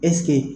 ɛsike